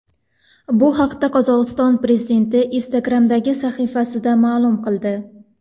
Bu haqda Qozog‘iston prezidenti Instagram’dagi sahifasida ma’lum qildi .